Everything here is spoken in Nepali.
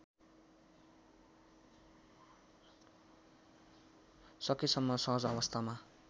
सकेसम्म सहज अवस्थामा